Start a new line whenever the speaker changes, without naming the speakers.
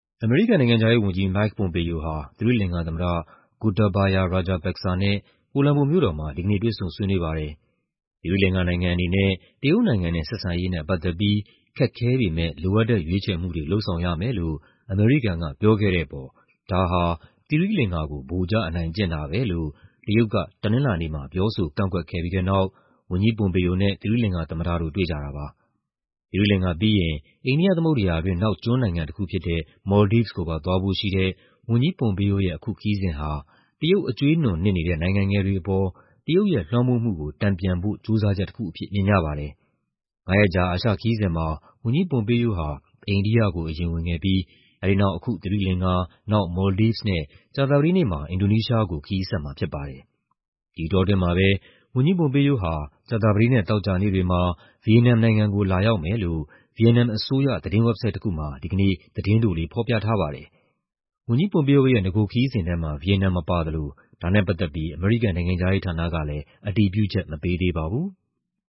အမေရိကန်နိုင်ငံခြားရေးဝန်ကြီး Mike Pompeo ဟာ သီရိလင်္ကာသမ္မတ Gotabaya Rajapaksa နဲ့ ကိုလမ်ဘိုမြို့တော်မှာ ဒီကနေ့ တွေ့ဆုံဆွေးနွေးပါတယ်။ သီရိလင်္ကာနိုင်ငံအနေနဲ့ တရုတ်နိုင်ငံနဲ့ ဆက်ဆံရေးနဲ့ ပတ်သက်ပြီး "ခက်ခဲပေမဲ့ လိုအပ်တဲ့ ရွေးချယ်မှုတွေ" လုပ်ဆောင်ရမယ်လို့ အမေရိကန်ကပြောခဲ့တဲ့အပေါ် ဒါဟာ သီရိလင်္ကာကို ဗိုလ်ကျအနိုင်ကျင့်တာပဲလို့ တရုတ်က တနင်္လာနေ့မှာ ပြောဆိုကန့်ကွက်ခဲ့ပြီးတဲ့နောက် ဝန်ကြီး Pompeo နဲ့ သီရိလင်္ကာသမ္မတတို့ တွေ့ကြတာပါ။ သီရိလင်္ကာပြီးရင် အိန္ဒိယသမုဒ္ဒရာတွင်း နောက်ကျွန်းနိုင်ငံတခုဖြစ်တဲ့ Maldives ကိုပါသွားဖို့ရှိတဲ့ ဝန်ကြီး Pompeo ရဲ့ အခုခရီးစဉ်ဟာ တရုတ် အကြွေးနွံနစ်နေတဲ့ နိုင်ငံငယ်တွေအပေါ် တရုတ်ရဲ့ လွှမ်းမိုးမှုကို တန်ပြန်ဖို့ ကြိုးစားချက်တခုအဖြစ် မြင်ကြပါတယ်။ ငါးရက်ကြာ အာရှခရီးစဉ်မှာ ဝန်ကြီး Pompeo ဟာ အိန္ဒိယကို အရင်ဝင်ခဲ့ပြီး အဲဒီနောက် အခု သီရိလင်္ကာ၊ နောက် Maldives နဲ့ ကြာသပတေးနေ့မှာ အင်ဒိုနီးရှားကို ခရီးဆက်မှာဖြစ်ပါတယ်။ ဒီအတောအတွင်းမှာပဲ ဝန်ကြီး Pompeo ဟာ ကြာသပတေးနဲ့ သောကြာနေ့တွေမှာ ဗီယက်နမ်နိုင်ငံကို လာရောက်မယ်လို့ ဗီယက်နမ်အစိုးရ သတင်းဝက်ဘ်ဆိုက်တခုမှာ ဒီကနေ့ သတင်းတိုလေး ဖော်ပြထားပါတယ်။ ဝန်ကြီး Pompeo ရဲ့ နဂိုခရီးစဉ်ထဲမှာ ဗီယက်နမ်မပါသလို ဒါနဲ့ပတ်သက်ပြီး အမေရိကန် နိုင်ငံခြားရေးဌာနကလည်း အတည်ပြုချက် မပေးသေးပါဘူး။